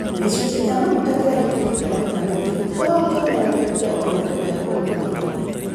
Gicunji kia maguta kiria giitikite maita maingi gitikoragwo kionereria kia uthukagia ũria umagira.